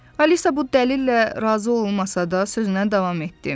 Alisa bu dəlillə razı olmasa da, sözünə davam etdi.